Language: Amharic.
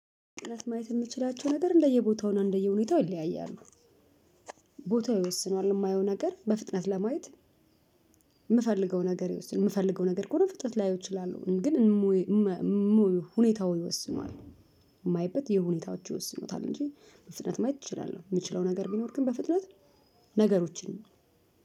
ቅንጥንት ማየት የምትችላቸው ነገር እንደየቦታው ነው እንደየሁኔታው ይለያያሉ። ቦታ ይወስነዋል የማየው ነገር በፍጥነት ለማየት የምፈልገው ነገር ይወስነዋል የምፈልገው ነገር ከሆነ በፍጥነት ላየው እችላለሁ ግን እም ሁኔታው ይወስኑታል የማይበት የሁኔታዎች ይወስኑታል እንጂ በፍጥነት ማየት እችላለህ የምችለው ነገር ቢኖር ግን በፍጥነት ነገሮችን